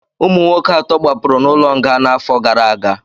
ụmụ nwoke atọ gbapụrụ n'ụlọ nga n'afọ gara aga